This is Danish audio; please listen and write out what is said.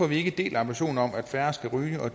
vi ikke deler ambitionen om at færre skal ryge og